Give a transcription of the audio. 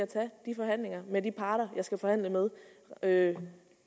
tage de forhandlinger om med de parter jeg skal forhandle med med